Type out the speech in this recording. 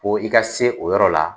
Ko i ka se o yɔrɔ la